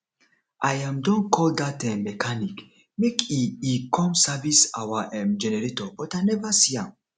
i um don call dat um mechanic make e e come service our um generator but i never see am